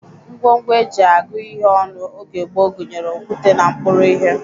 Ngwongwo e ji agụ ihe ọnụ oge gboo gụnyere okwute na mkpụrụ ihe